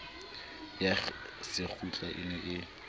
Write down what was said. ya sekgutlo e ne e